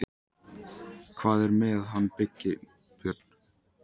Hvað er með hann Birgi Björn?